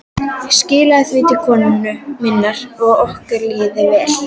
Skilaðu því til konu minnar að okkur líði vel.